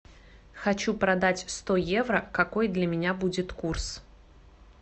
хочу продать сто евро какой для меня будет курс